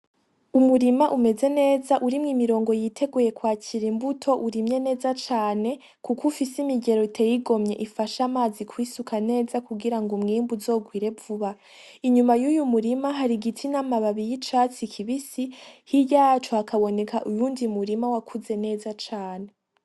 Umurima umeze neza urimwe imirongo yiteguye kwacira imbuto urimye neza cane, kuko ufise imigero Iteye igomye ifashe amazi kwisuka neza kugira ngo umwemu uzogwire vuba inyuma y'uyu murima hari igitsin'amababi y'icatsi kibisi hiryayaco hakaboneka uyundi murima wakuze neza cane.